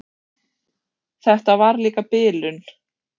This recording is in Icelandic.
Hvort það hefði slasast mikið.